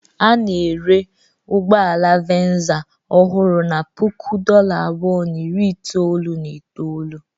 A na-ere ụgbọ ala Venza ọhụrụ na puku dollar abụọ na iri itoolu na itoolu.